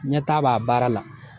Ɲɛtaga b'a baara la